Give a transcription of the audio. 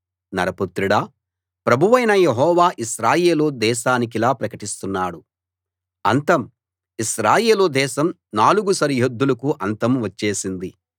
నరపుత్రుడా ప్రభువైన యెహోవా ఇశ్రాయేలు దేశానికిలా ప్రకటిస్తున్నాడు అంతం ఇశ్రాయేలు దేశం నాలుగు సరిహద్దులకు అంతం వచ్చేసింది